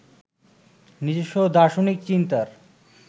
নিজস্ব দার্শনিক চিন্তার